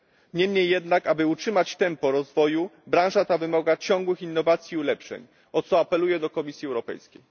Niemniej jednak, aby utrzymać tempo rozwoju, branża ta wymaga ciągłych innowacji i ulepszeń, o co apeluję do Komisji Europejskiej.